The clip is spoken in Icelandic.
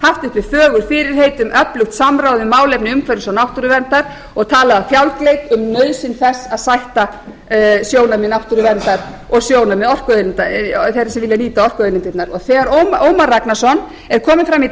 haft uppi fögur fyrirheit um öflugt samráð um málefni umhverfis og náttúruverndar og talað með fjálgleik um nauðsyn þess að stækka sjónarmið þeirra sem vilja nýta orkuauðlindirnar og þegar ómar ragnarsson er kominn fram í